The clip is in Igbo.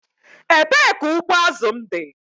Ebee ka ụgbụ azụ m dị?